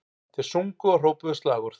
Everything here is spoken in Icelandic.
Þeir sungu og hrópuðu slagorð